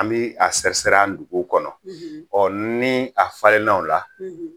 An bɛ a sɛsi-sɛri a nduguw kɔnɔ ɔ ni a falenna o la